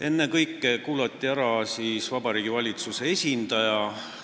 Ennekõike kuulati ära Vabariigi Valitsuse esindaja.